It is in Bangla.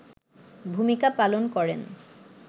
ভূমিকা পালন করেন